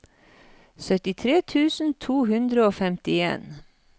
syttitre tusen to hundre og femtien